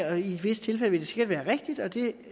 og i visse tilfælde sikkert være rigtigt og det